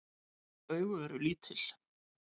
Augu eru lítil.